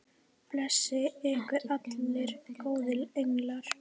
Blessi ykkur allir góðir englar.